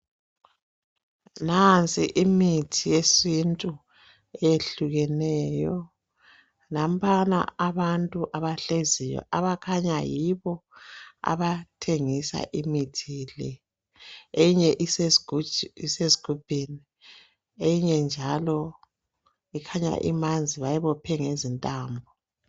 Nansi imithi yesintu eyehlukeneyo nampana abantu abahleziyo abakhanya yibo abathengisa imithi le enye isesgubhini eyinye njalo ikhanya imanzi bayibophe ngezintambo.